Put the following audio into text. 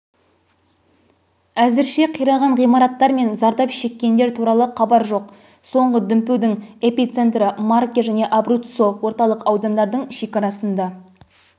әзірше қираған ғимараттар мен зардап шеккендер туралы хабар жоқ соңғы дүмпудің эпицентрімарке жәнеабруццо орталық аудандардың шекарасында